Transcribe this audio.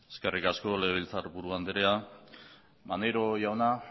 eskerrik asko legebiltzarburu andrea maneiro jauna